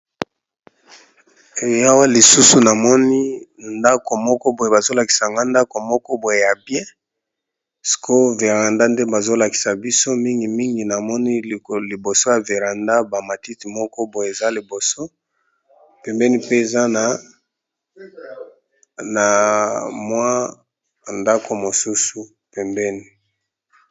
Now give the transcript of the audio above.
Yawa lisusu namoni ndako moko boye bazolakisanga ndako moko boye ya bia sco veranda nde bazolakisa biso mingimingi namoni liboso ya veranda bamatite moko boye eza liboso pembeni mpe eza na mwa ndako mosusu pembeni.